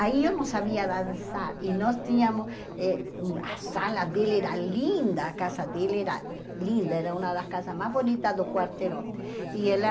Aí eu não sabia dançar e nós tínhamos eh hum... A sala dela era linda, a casa dela era linda, era uma das casas mais bonitas do quarteirão. E ela